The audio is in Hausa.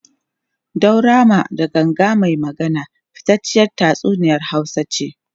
Daurama da Ganga mai Magana fitacciyar tatsuniyar Hausa ce.